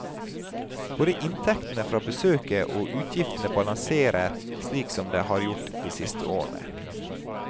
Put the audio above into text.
Både inntektene fra besøket og utgiftene balanserer slik som det har gjort de siste årene.